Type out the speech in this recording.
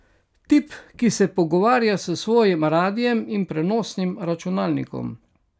Tip, ki se pogovarja s svojim radiem in prenosnim računalnikom.